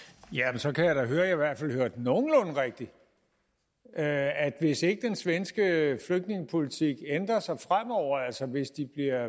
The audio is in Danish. jamen så kan jeg da høre at jeg i hvert fald hørte nogenlunde rigtigt at hvis ikke den svenske flygtningepolitik ændrer sig fremover altså hvis de